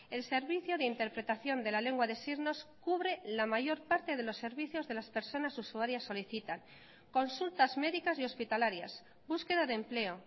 el servicio de interpretación de la lengua de signos cubre la mayor parte de los servicios de las personas usuarias solicitan consultas médicas y hospitalarias búsqueda de empleo